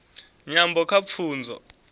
nyambo kha pfunzo